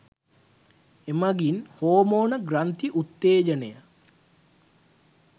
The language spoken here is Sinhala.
එමගින් හෝමෝන ග්‍රන්ථි උත්තේජනය